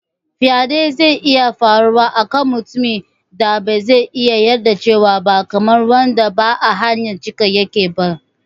Faɗe zai iya faruwa a kan mutumin da ba zai iya yarjewa ba, kamar wanda ba a hayyacinsa yake ba.